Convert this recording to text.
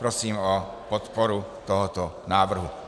Prosím o podporu tohoto návrhu.